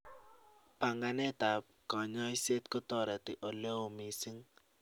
Panganeet ab kanyaiset kotareti oleoo misiing